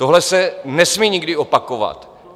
Tohle se nesmí nikdy opakovat.